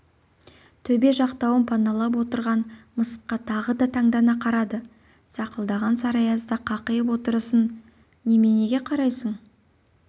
төбе жақтауын паналап отырған мысыққа тағы да таңдана қарады сақылдаған сары аязда қақиып отырысын неменеге қарайсың